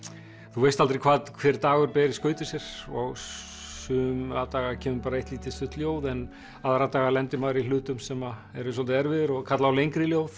þú veist aldrei hvað hver dagur ber í skauti sér og suma daga kemur bara eitt lítið stutt ljóð en aðra daga lendir maður í hlutum sem eru svolítið erfiðir og kalla á lengri ljóð